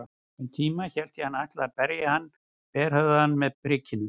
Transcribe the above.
Um tíma hélt ég hann ætlaði að berja þann berhöfðaða með prikinu.